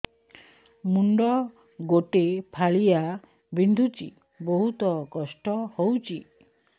ମୁଣ୍ଡ ଗୋଟେ ଫାଳିଆ ବିନ୍ଧୁଚି ବହୁତ କଷ୍ଟ ହଉଚି